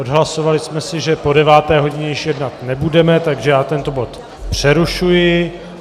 Odhlasovali jsme si, že po deváté hodině již jednat nebudeme, takže já tento bod přerušuji.